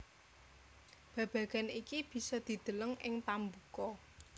Babagan iki bisa dideleng ing pambuka